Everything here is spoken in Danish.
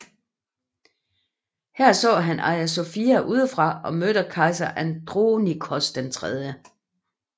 Her så han Hagia Sophia udefra og mødte kejser Andronikos 3